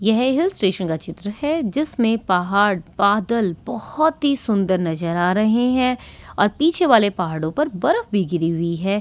ये है hill station का चित्र हैजिसमे पहाड़ बादल बहुती सुंदर नज़र आ रहे है और पिछे वाले पहाड़ों पर बरफ भी गिरी हुई है यहाँ--